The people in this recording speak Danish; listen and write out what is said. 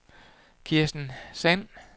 Kirsten Sand